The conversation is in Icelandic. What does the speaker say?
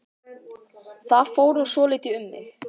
Það fór nú svolítið um mig.